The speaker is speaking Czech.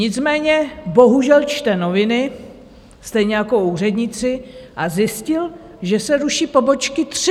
Nicméně bohužel čte noviny, stejně jako úředníci, a zjistil, že se ruší pobočky tři.